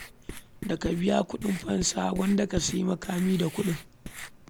Da ka biya kuɗin fansa, gwanda ka sayi makami da kuɗin.